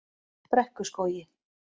Brekkuskógi